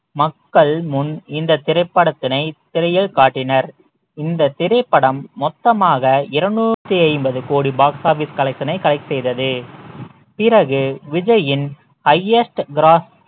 மக்கள் முன் இந்த திரைப்படத்தினை திரையில் காட்டினர் இந்த திரைப்படம் மொத்தமாக இருநூற்று ஐம்பது கோடி box office collection ஐ collect செய்தது பிறகு, விஜயின் highest gross